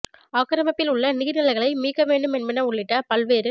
ஆக்கிரமிப்பில் உள்ள நீர் நிலைகளை மீட்க வேண்டும் என்பன உள்ளிட்ட பல்வேறு